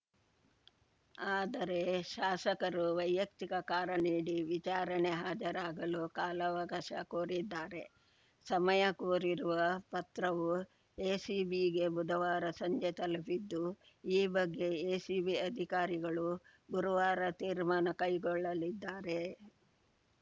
ಆದರೆ ಶಾಸಕರು ವೈಯಕ್ತಿಕ ಕಾರಣ ನೀಡಿ ವಿಚಾರಣೆ ಹಾಜರಾಗಲು ಕಾಲಾವಕಾಶ ಕೋರಿದ್ದಾರೆ ಸಮಯ ಕೋರಿರುವ ಪತ್ರವು ಎಸಿಬಿಗೆ ಬುಧವಾರ ಸಂಜೆ ತಲುಪಿದ್ದು ಈ ಬಗ್ಗೆ ಎಸಿಬಿ ಅಧಿಕಾರಿಗಳು ಗುರುವಾರ ತೀರ್ಮಾನ ಕೈಗೊಳ್ಳಲಿದ್ದಾರೆ